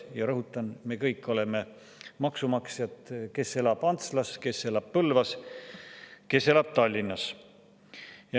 Ja rõhutan: me kõik oleme maksumaksjad – see, kes elab Antslas, kes elab Põlvas, kes elab Tallinnas.